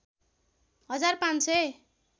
हजार ५ सय